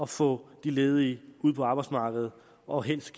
få de ledige ud på arbejdsmarkedet og helst